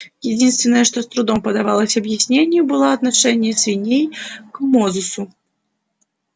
единственное что с трудом поддавалось объяснению было отношение свиней к мозусу